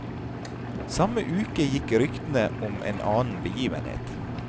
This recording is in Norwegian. Samme uke gikk ryktene om en annen begivenhet.